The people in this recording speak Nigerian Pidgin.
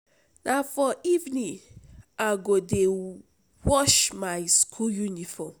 Na for evening I go dey wash my school uniform.